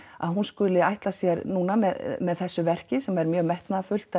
að hún skuli ætla sér núna með með þessu verki sem er mjög metnaðarfullt